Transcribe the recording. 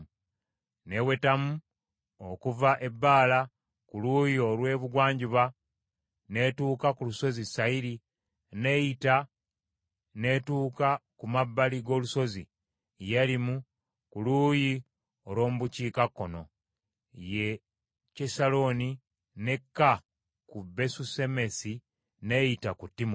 n’ewetamu okuva e Baala ku luuyi olw’ebugwanjuba n’etuuka ku lusozi Sayiri n’eyita n’etuuka ku mabbali g’olusozi Yealimu ku luuyi olw’omu bukiikakkono, ye Kyesaloni, n’ekka ku Besusemesi, n’eyita ku Timuna,